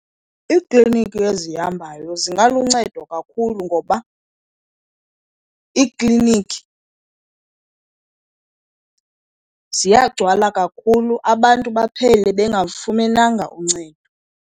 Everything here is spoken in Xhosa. Iikliniki ezihambayo zingaluncedo kakhulu, ngoba iiklinikhi ziyagcwala kakhulu abantu baphele bengalufumenanga uncedo.